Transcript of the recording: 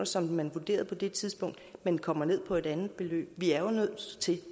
som man vurderede på det tidspunkt men kommer ned på et andet beløb vi er jo